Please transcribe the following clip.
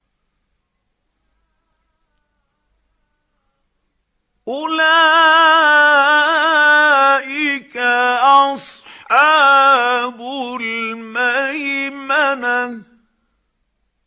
أُولَٰئِكَ أَصْحَابُ الْمَيْمَنَةِ